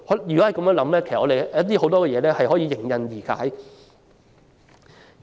如能這樣想，很多問題均可迎刃而解。